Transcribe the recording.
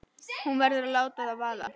Hún verður að láta það vaða.